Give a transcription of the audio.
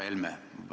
Härra Helme!